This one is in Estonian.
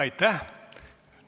Aitäh!